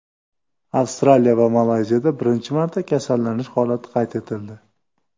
Avstraliya va Malayziyada birinchi marta kasallanish holati qayd etildi.